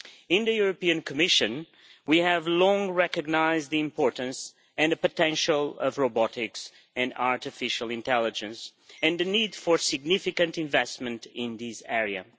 In the European Commission, we have long recognised the importance and the potential of robotics and artificial intelligence, and the need for significant investment in these areas.